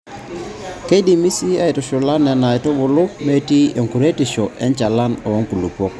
Keidimi sii aaitushula Nena aitubulu metii enkuretisho enchalan oo nkulupuok.